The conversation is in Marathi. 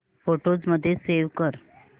फोटोझ मध्ये सेव्ह कर